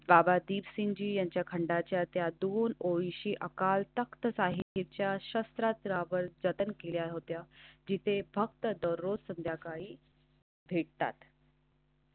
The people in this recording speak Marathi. बाबा दीपसिंग जी यांच्या खंडांच्या त्यातून ओळशी अकाल तख्त साहित्याच्या शस्त्रा त्यावर जतन केल्या होत्या. जिथे फक्त दररोज संध्याकाळी. ठीकठाक.